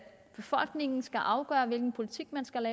befolkningen skal afgøre hvilken politik man skal